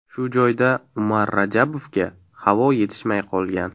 Shu joyda Umar Rajabovga havo yetishmay qolgan.